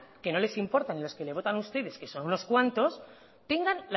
que no les importa los que les votan a ustedes que son unos cuantos